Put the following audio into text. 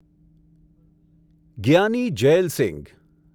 Giani Jail Singh